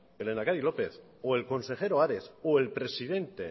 el lehendakari lópez o el consejero ares o el presidente